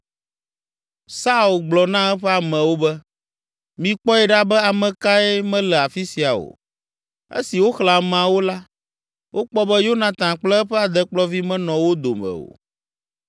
Saul gblɔ na eƒe amewo be, “Mikpɔe ɖa be ame kae mele afi sia o.” Esi woxlẽ ameawo la, wokpɔ be Yonatan kple eƒe adekplɔvi menɔ wo dome o.